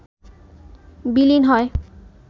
বিলীন হয়